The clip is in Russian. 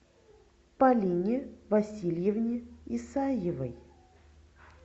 полине васильевне исаевой